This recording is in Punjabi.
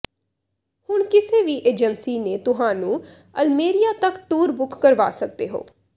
ਹੁਣ ਕਿਸੇ ਵੀ ਏਜੰਸੀ ਨੇ ਤੁਹਾਨੂੰ ਅਲਮੇਰਿਆ ਤੱਕ ਟੂਰ ਬੁੱਕ ਕਰਵਾ ਸਕਦੇ ਹੋ